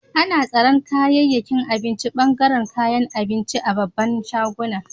Ana tsaran kayakin abinci a bangaren kayan abinci a'babban shaguna.